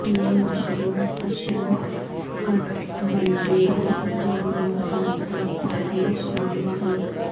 یہ مشروم اشنکٹبندیی جنگلوں میں خاص طور پر بے شمار ہیں